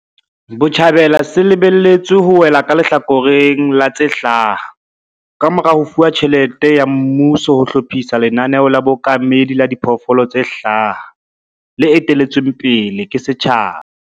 Botjhabela se lebe lletswe ho wela ka lehlakoreng la tse hlaha kamora ho fuwa tjhelete ya mmuso ho hlophisa lenaneo la bookamedi la diphoofolo tse hlaha, le etelletsweng pele ke setjhaba.